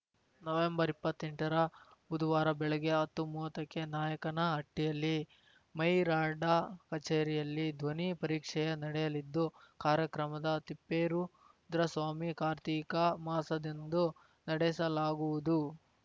November ಇಪ್ಪತ್ತೆಂಟರ ಬುದುವಾರ ಬೆಳಿಗ್ಗೆ ಹತ್ತುಮೂವತ್ತಕ್ಕೆ ನಾಯಕನಹಟ್ಟಿಯಲ್ಲಿ ಮೈರಾಡ ಕಚೇರಿಯಲ್ಲಿ ಧ್ವನಿ ಪರೀಕ್ಷೆ ನಡೆಯಲಿದ್ದು ಕಾರ್ಯಕ್ರಮದ ತಿಪ್ಪೇರುದ್ರಸ್ವಾಮಿ ಕಾರ್ತಿಕ ಮಾಸದಂದು ನಡೆಸಲಾಗುವುದು